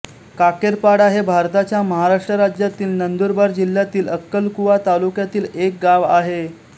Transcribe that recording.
काकेरपाडा हे भारताच्या महाराष्ट्र राज्यातील नंदुरबार जिल्ह्यातील अक्कलकुवा तालुक्यातील एक गाव आहे